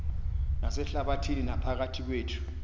nasehlabathini naphakathi kwethu